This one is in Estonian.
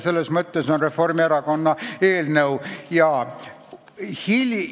Selles mõttes on Reformierakonna eelnõu hea.